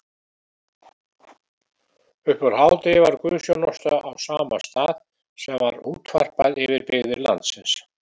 Uppúr hádegi var guðsþjónusta á sama stað sem var útvarpað yfir byggðir landsins.